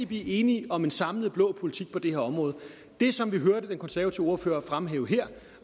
blive enige om en samlet blå politik på det her område det som vi hørte den konservative ordfører fremhæve her